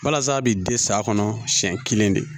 Walasa a bi den s'a kɔnɔ siɲɛ kelen de